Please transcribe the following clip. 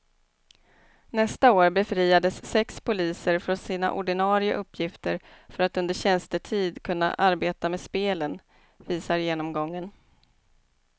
Nästa år befriades sex poliser från sina ordinarie uppgifter för att under tjänstetid kunna arbeta med spelen, visar genomgången.